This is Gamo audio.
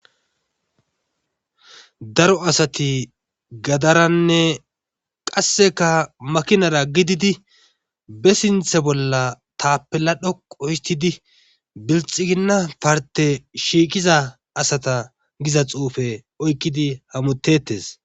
daro asati gadaranne qasseka makinara gididi be sinthe bolla taapela dhoqo histidi bilxiginna parte shiiqiza asata giza xuufe oykkidi hamutettes